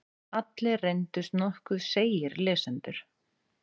Allir reyndust nokkuð seigir lesendur.